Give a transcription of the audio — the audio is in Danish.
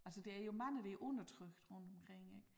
Altså der er jo mange der er undertrykt rundtomkring ik